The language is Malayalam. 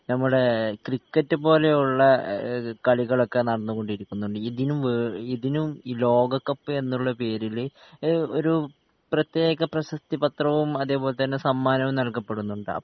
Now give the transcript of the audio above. നമ്മുടെ ക്രിക്കറ്റ് പോലെയുള്ള കളികളൊക്കെ നടന്നുകൊണ്ടിരിക്കുന്നുണ്ട് ഇതിനും വേ ഇതിനും ഈ ലോകക്കപ്പ് എന്നുള്ള പേരില് ഏ ഒരുപ്രത്യേക പ്രശസ്ത്രി പത്രവും അതെ പോലെ തന്നെ സമ്മാനവും നൽകപ്പെടുന്നുണ്ട്